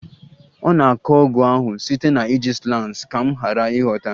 Ọ na-akọ ọgụ ahụ site na iji slangs ka m ghara ịghọta